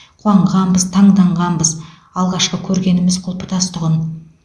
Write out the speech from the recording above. қуанғанбыз таңданғанбыз алғашқы көргеніміз құлпытас тұғын